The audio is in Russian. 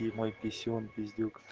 и мой писюн пиздюк